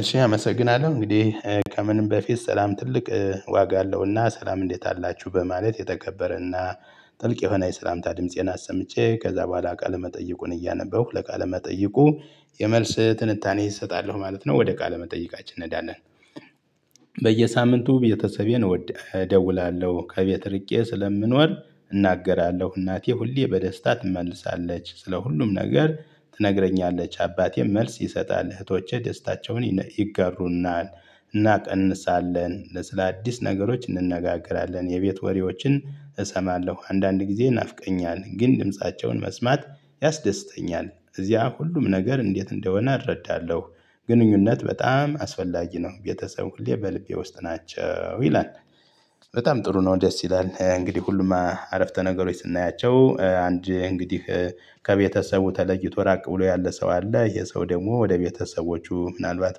እሺ አመሰግናለሁ። እንግዲህ ከምንም በፊት ሰላም ትልቅ ዋጋ አለውና ሰላም እንዴት አላችሁ በማለት የተከበረና ጥልቅ የሆነ የሰላምታ ድምፄን አሰምቼ፤ ከዛ በኋላ ቃለመጠይቁን እያነበብሁ ለቃለመጠይቁ የመልስ ትንታኔ እሰጣለሁ ማለት ነው። ወደ ቃለ መጠይቃችን እንሄዳለን። በየሳምንቱ ቤተሰቤን እደውላለሁ። ከቤት ርቄ ስለምኖር እናገራለሁ። እናቴ ሁሌ በደስታ ትመልሳለች። ስለ ሁሉም ነገር ትነግረኛለች። አባቴም መልስ ይሰጣል። እህቶቼ ደስታቸውን ይገሩናል። እናቀንሳለን ስለአዲስ ነገሮች እንነጋገራለን። የቤት ወሬዎችን እሰማለሁ። አንዳንድ ጊዜ ናፍቀኛል ግን ድምፃቸውን መስማት ያስደስተኛል። እዚያ ሁሉም ነገር እንዴት እንደሆነ እረዳለሁ። ግንኙነት በጣም አስፈላጊ ነው። ቤተሰብ ሁሌ በልቤ ውስጥ ናቸው። ይላል በጣም ጥሩ ነው። ደስ ይላል። እንግዲህ ሁሉም አረፍተ ነገሮች ስናያቸው አንድ እንግዲህ ከቤተሰቡ ተለይቶ ራቅ ብሎ ያለ ሰው አለ። ይሄ ሰው ደግሞ ወደ ቤተሰቦቹ ምናልባት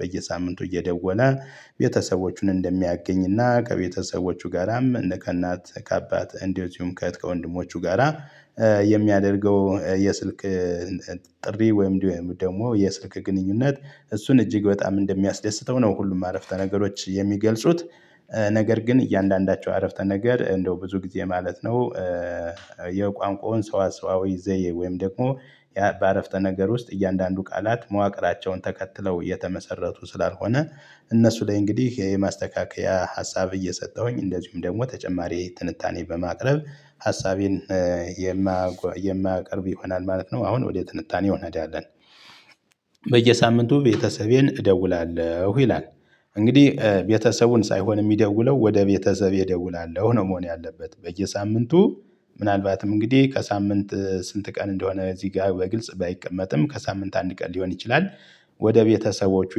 በየሳምንቱ እየደወለ ቤተሰቦቹን እንደሚያገኝና፤ ከቤተሰቦቹ ጋራም እነ ከእናት ከአባት እንደዚሁም ከእህት ከወንድሞቹ ጋራ የሚያደርገው የስልክ ጥሪ ወይም ደግሞ የስልክ ግንኙነት እሱን እጅግ በጣም እንደሚያስደስተው ነው ሁሉም አረፍተ ነገሮች የሚገልጹት። ነገር ግን እያንዳንዳቸው አረፍተ ነገር እንደው ብዙ ጊዜ ማለት ነው የቋንቋውን ሰዋ ሰዋዊ ዘዬ ወይም ደግሞ ያ በአረፍተ ነገር ውስጥ እያንዳንዱ ቃላት መዋቅራቸውን ተከትለው የተመሰረቱ ስላልሆነ፤ እነሱ ላይ እንግዲህ የማስተካከያ ሀሳብ እየሰጠሁኝ እንደዚሁም ደግሞ ተጨማሪ ትንታኔ በማቅረብ ሀሳቤን የማያቀርብ ይሆናል ማለት ነው። አሁን ወደ ትንታኔው እንሄዳለን። በየሳምንቱ ቤተሰቤን እደውላለሁ ይላል። እንግዲህ ቤተሰቡን ሳይሆን የሚደውለው፤ 'ወደ ቤተሰቤ እደውላለሁ።' ነው መሆን ያለበት። በየሳምንቱ ምናልባትም እንግዲህ ከሳምንት ስንት ቀን እንደሆነ እዚህ ጋር በግልጽ ባይቀመጥም፤ ከሳምንት አንድ ቀን ሊሆን ይችላል ወደ ቤተሰቦቹ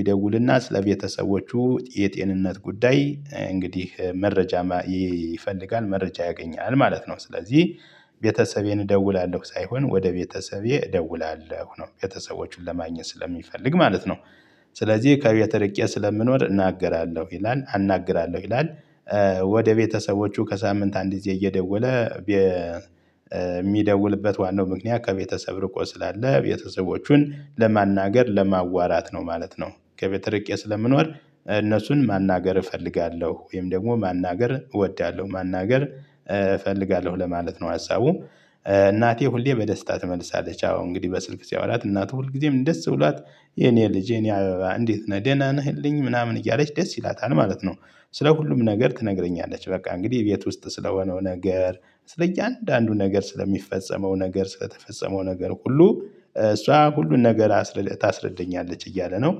ይደውልና ስለ ቤተሰቦቹ የጤንነት ጉዳይ እንግዲህ መረጃ ይፈልጋል መረጃ ያገኛል ማለት ነው። ስለዚህ ቤተሰቤን እደውላለሁ ሳይሆን 'ወደ ቤተሰቤ እደውላለሁ' ነው። ቤተሰቦቹን ለማግኘት ስለሚፈልግ ማለት ነው። ስለዚህ ከቤት ርቄ ስለምኖር እናገራለሁ ይላል አናግራለሁ ይላል። ወደ ቤተሰቦቹ ከሳምንት አንድ ጊዜ እየደወለ የሚደውልበት ዋናው ምክንያት ከቤተሰብ ርቆ ስላለ ቤተሰቦቹን ለማናገር ለማዋራት ነው ማለት ነው። ከቤተርቄ ስለምኖር እነሱን ማናገር እፈልጋለሁ ወይም ደግሞ ማናገር እወዳለሁ ማናገር እፈልጋለሁ ለማለት ነው ሀሳቡ። እናቴ ሁሌ በደስታ ትመልሳለች አዎ እንግዲህ በስልክ ሲያወራት እናቱ ሁልጊዜም ደስ ብሏት "የኔ ልጅ፣ የኔ አበባ እንዴት ነህ? ደህና ነህልኝ?" ምናምን እያለች ደስ ይላታል ማለት ነው። ስለ ሁሉም ነገር ትነግረኛለች። በቃ እንግዲህ ቤት ውስጥ ስለሆነው ነገር፣ ስለእያንዳንዱ ነገር ስለሚፈጸመው ነገር፣ ስለተፈጸመው ነገር ሁሉ እሷ ሁሉን ነገር ታስረዳኛለች እያለ ነው።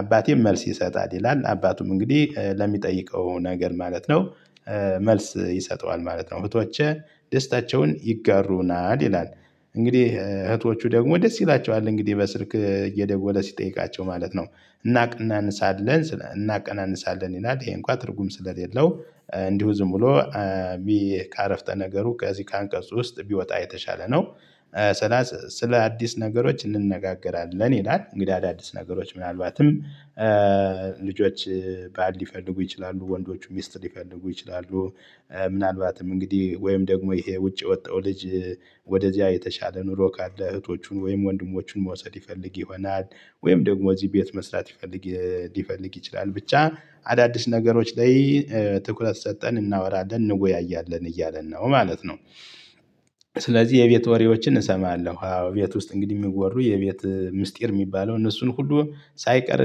አባቴም መልስ ይሰጣል ይላል። አባቱም እንግዲህ ለሚጠይቀው ነገር ማለት ነው መልስ ይሰጠዋል ማለት ነው። እህቶቼ ደስታቸውን ይጋሩናል ይላል። እንግዲህ እህቶቹ ደግሞ ደስ ይላቸዋል። እንግዲህ በስልክ እየደወለ ሲጠይቃቸው ማለት ነው። እናቀናንሳለን እናቀናንሳለን ይላል። ይሄ እንኳን ትርጉም ስለሌለው እንዲሁ ዝም ብሎ ከአረፍተ ነገሩ ከዚህ ከአንቀፁ ውስጥ ቢወጣ የተሻለ ነው። ስለ ስለ አዲስ ነገሮች እንነጋገራለን ይላል። እንግዲህ አዳዲስ ነገሮች ምናልባትም ልጆች ባል ሊፈልጉ ይችላሉ፣ ወንዶቹ ሚስት ሊፈልጉ ይችላሉ ምናልባትም እንግዲህ ወይም ደግሞ ይሄ ውጪ የወጣው ልጅ ወደዚያ የተሻለ ኑሮ ካለ እህቶቹን ወይም ወንድሞቹን መውሰድ ይፈልግ ይሆናል። ወይም ደግሞ እዚህ ቤት መስራት ይፈልግ ሊፈልግ ይችላል። ብቻ አዳዲስ ነገሮች ላይ ትኩረት ሰጥተን እናወራለን እንወያያለን እያለን ነው ማለት ነው። ስለዚህ የቤት ወሬዎችን እሰማለሁ። አዎ ቤት ውስጥ እንግዲህ የሚወሩ የቤት ምስጢር የሚባለው እነሱን ሁሉ ሳይቀር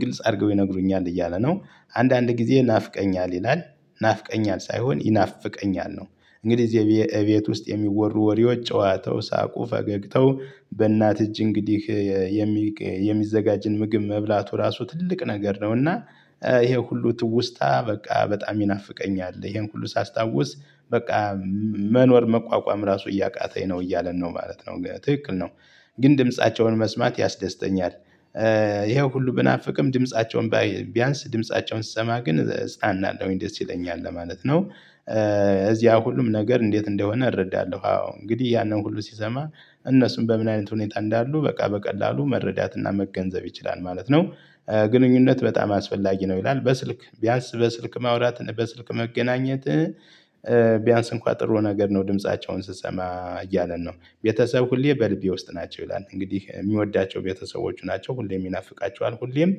ግልጽ አድርገው ይነግሩኛል እያለ ነው። አንዳንድ ጊዜ ናፍቀኛል ይላል ናፍቀኛል ሳይሆን ይናፍቀኛል ነው። እንግዲህ እዚ እቤት ውስጥ የሚወሩ ወሬዎች ጨዋታው፣ ሳቁ፣ ፈገግተው በእናት እጅ እንግዲህ የሚዘጋጅን ምግብ መብላቱ ራሱ ትልቅ ነገር ነው። እና ይሄ ሁሉ ትውስታ በቃ በጣም ይናፍቀኛል፤ ይሄን ሁሉ ሳስታውስ በቃ መኖር መቋቋም ራሱ እያቃተኝ ነው እያለን ነው ማለት ነው። ትክክል ነው። ግን ድምፃቸውን መስማት ያስደስተኛል። ይሄ ሁሉ ብናፍቅም ድምፃቸውን ቢያንስ ድምፃቸውን ስሰማ ግን እፅናናለሁኝ ደስ ይለኛል ለማለት ነው። እዚያ ሁሉም ነገር እንዴት እንደሆነ እረዳለሁ። አዎ እንግዲህ ያንን ሁሉ ሲሰማ እነሱን በምን አይነት ሁኔታ እንዳሉ በቃ በቀላሉ መረዳትና መገንዘብ ይችላል ማለት ነው። ግንኙነት በጣም አስፈላጊ ነው ይላል። በስልክ ቢያንስ በስልክ ማውራት፣ በስልክ መገናኘት ቢያንስ እንኳን ጥሩ ነገር ነው ድምፃቸውን ስሰማ እያለን ነው። ቤተሰብ ሁሌ በልቤ ውስጥ ናቸው ይላል። እንግዲህ የሚወዳቸው ቤተሰቦቹ ናቸው። ሁሌም ይናፍቃቸዋል፤ ሁሌም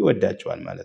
ይወዳቸዋል ማለት ነው።